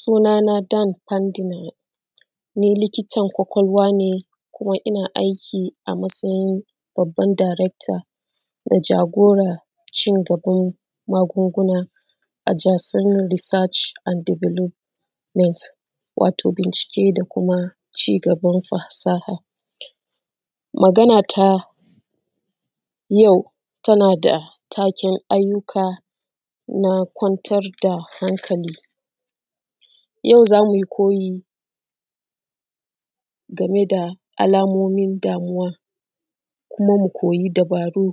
Sunana Dam Fantinaye ni likitan kwakwalwa ne kuma ina aiki a matsayin Babban Darekta da jagoran cigaban magunguna wato bincike da kuma cigaban fasaha, magana ta yau mai taken na kwantar da hankali yau za mu yi koyi game da alamomin damuwa kuma mu koyi dubaru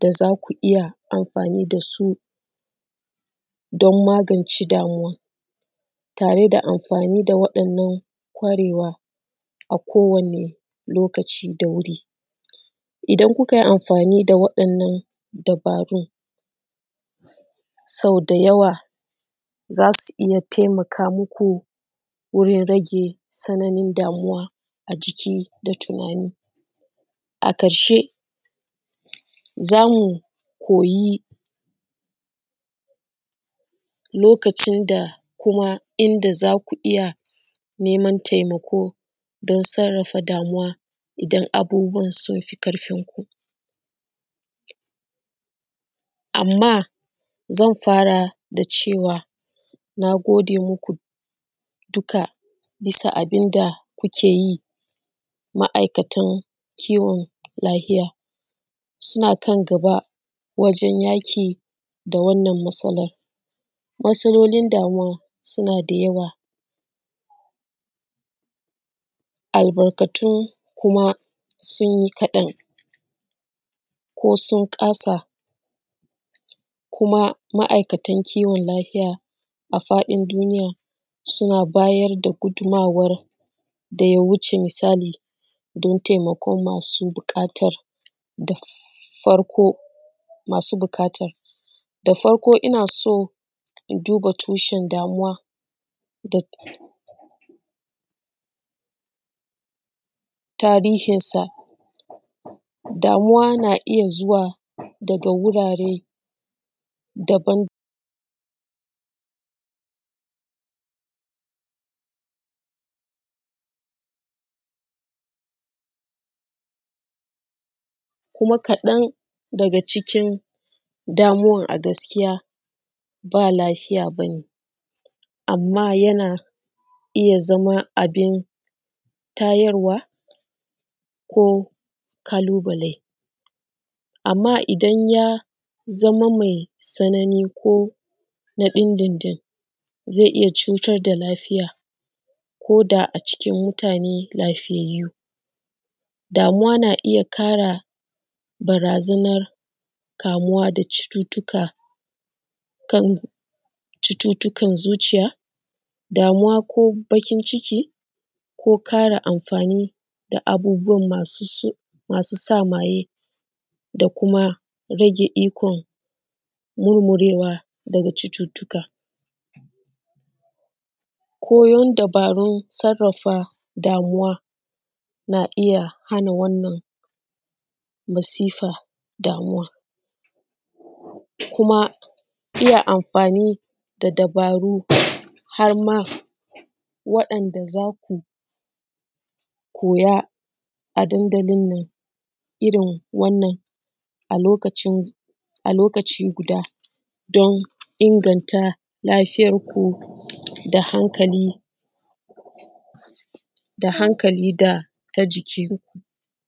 da za ku iya anfani da su don magance damuwa tare da anfani da wa’yannan kwarewa a kowane lokaci da wuri idan ku kai anfani da wa’yan nan sauda yawa za su iya taimaka musu wajen rage tsananin damuwa. A ciki da tinani a ƙarshe za mu koyi lokacin da kuma inda za ku iya neman taimako don sarrafa damuwa, idan abubuwan sun fi ƙarfinku, anma zan fara da cewa na gode muku duka bisa da abinda kuke yi. Ma’aikatan kiwon lafiya suna kan gaba wajen yaƙi da wannan matsalan, matssalolin damuwa suna da yawa albarkatun kuma sun yi kaɗan ko sun ƙasa kuma ma’aikatan kiwon lafiya a faɗin duniya suna bayar da gudunmuwan da ya wuce misali don taimakon masu ɓukatan taimako da farko, ina son in duba tushen damuwa da tarihinsa. Damuwa na iya zuwa daga wurare daban kuma kaɗan daga cikin damuwan a gaskiya ba lafiya ba ne, anma yana iya zama abin tayarwa ko ƙalubale, anma idan ya zama mai tsanani ko na dindindin zai iya cutar da lafiya ko da a cikin mutane lafiyayye ne, damuwa na iya ƙara barazanan ƙara kamuwa da cututtuka kaman cututtukan zuciya damuwa ko baƙinciki, ko ƙara anfani da abubuwa masu sa maye da kuma rage ikon murmurewa na cututtuka. Koyan dubarun sarrafa damuwa na iya hana wannan masifa da damuwa kuma iya anfani da dubaru har ma waɗanda za ku koya a dandalin nan irin wannan a lokaci guda don inganta lafiyanku da hankali da ta jiki.